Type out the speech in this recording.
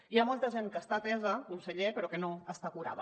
hi ha molta gent que està atesa conseller però que no està curada